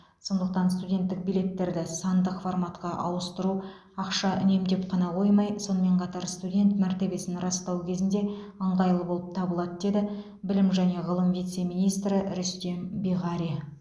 сондықтан студенттік билеттерді сандық форматқа ауыстыру ақша үнемдеп қана қоймай сонымен қатар студент мәртебесін растау кезінде ыңғайлы болып табылады деді білім және ғылым вице министрі рүстем биғари